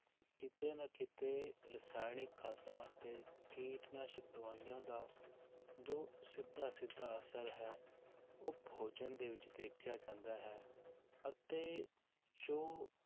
ਕਿਤੇ ਨਾ ਕਿਤੇ ਰਸਾਇਣਿਕ ਖਾਦਾਂ ਅਤੇ ਕੀਟਨਾਸ਼ਕ ਦਵਾਈਆਂ ਦਾ ਜੋ ਸਿੱਧਾ ਸਿੱਧਾ ਅਸਰ ਹੈ ਉਹ ਭੋਜਨ ਦੇ ਵਿੱਚ ਦੇਖਿਆ ਜਾਂਦਾ ਹੈ, ਅਤੇ ਜੋ